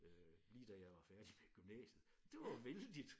Øh lige da jeg var færdig med gymnasiet det var vældigt